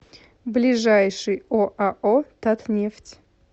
ближайший оао татнефть